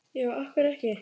Já, af hverju ekki?